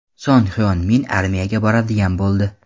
Son Hyon Min armiyaga boradigan bo‘ldi.